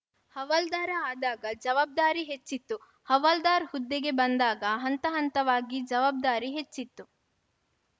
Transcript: ಹವಾಲ್ದಾರ ಆದಾಗ ಜವಾಬ್ದಾರಿ ಹೆಚ್ಚಿತು ಹವಾಲ್ದಾರ್‌ ಹುದ್ದೆಗೆ ಬಂದಾಗ ಹಂತಹಂತವಾಗಿ ಜವಾಬ್ದಾರಿ ಹೆಚ್ಚಿತ್ತು